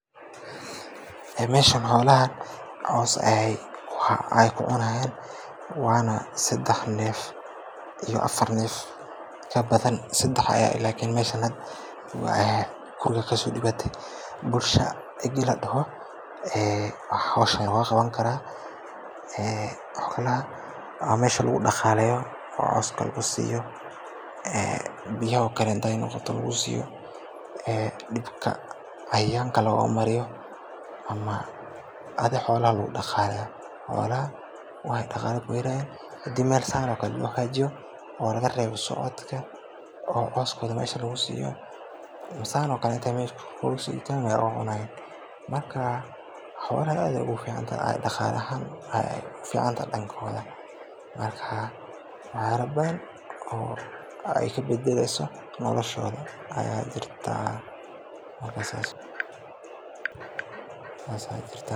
Ee meshan xoolaha cows ayay kucunayan wana sadax neef iyo afaar neef kabadhan sadax aya lakin meshan hdaa waya waxa mesha logaqabani kara ee okale wa mesha lagudaqaleya oo cowska lagusiya ee biyaha okale haday noqota lagusiyo ee dibka cayayanka logamariyo ama adhi xoolaha lagudaqaleya oo wayo daqale kuhelayaan kadib mel saan okale laguhagajiyo oo lagareba socodka oo cows badhan mesha lagusiyo masan okaleto lagucunayo marka xoolaha aad ayay uguficantahay daqale ahaan marka lagadhaya daqala ahaan way uficantahay danka xoolaha marka wax yala badhan oo ay kabadaleyso nolashodha marka sas aya jirta